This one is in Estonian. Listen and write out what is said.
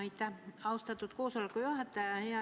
Aitäh, austatud koosoleku juhataja!